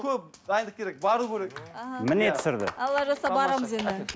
көп дайындық керек бару керек аха міне түсірді алла жазса барамыз енді